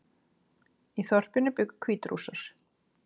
Í þorpinu bjuggu Hvítrússar